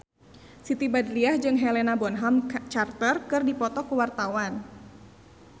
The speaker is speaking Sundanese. Siti Badriah jeung Helena Bonham Carter keur dipoto ku wartawan